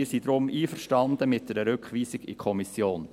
Wir sind deshalb einverstanden mit einer Rückweisung an die Kommission.